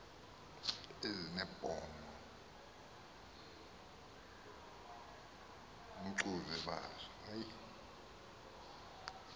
ezinebhongo ngcbuzwe bazo